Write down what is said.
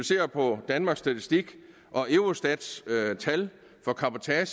ser på danmarks statistik og eurostats tal for cabotage